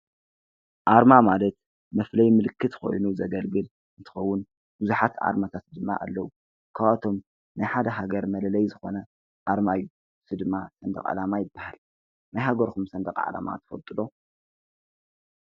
ኣርማ ማለት መፍለዪ ምልክት ኮይኑ ዘገልግል እንተኸውን ብዙሓት ኣርማታት ድማ ኣለዉ፡፡ ካብኣቶም ናይ ሓደ ሃገር መለለዪ ዝኾነ ኣርማ እዩ፡፡ እዚ ድማ ሰንደቕ ዓላማ ይበሃል፡፡ ናይ ሃገርኩም ሰንደቕ ዓላማ ትፈልጡ ዶ?